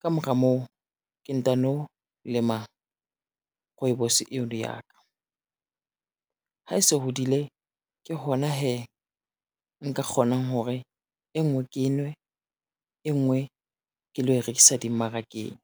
Ka mora moo ke ntano lema rooibos eo le ya ka, ha e se hodile ke hona hee nka kgonang hore, e ngwe ke e nwe, e ngwe ke lo e rekisa dimmarakeng.